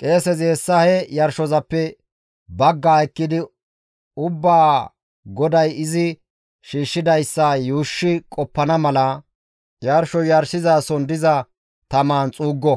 Qeesezi hessa he yarshozappe baggaa ekkidi ubbaa GODAY izi shiishshidayssa yuushshi qoppana mala yarsho yarshizason diza tamaan xuuggo;